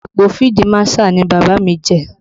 Ipò fídí Màṣáà ni Bàbá mi jẹ